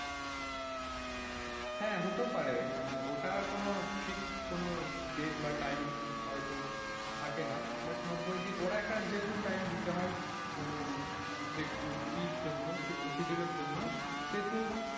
হ্যাঁ হতেও পারে মানে ওটা কোন fixed কোন date বা time হয়তো থাকে না but নব্বই দিন ওরা একটা যেহেতু time দিতে হয় মানে এর জন্য schedule জন্য, যেহেতু,